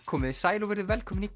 komiði sæl og verið velkomin í